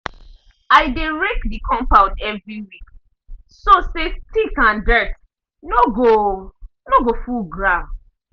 i dey rake the compound every week so say stick and dirt no go no go full ground.